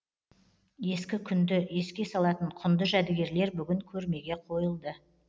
ескі күнді еске салатын құнды жәдігерлер бүгін көрмеге қойылды